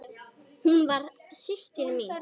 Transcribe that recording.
Hún var systir mín.